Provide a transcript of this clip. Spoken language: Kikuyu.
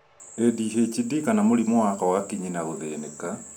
ADHD kana mũrĩmũ wa kwaga kinyi na gũthĩnĩka